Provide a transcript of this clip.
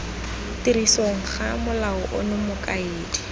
tirisong ga molao ono mokaedi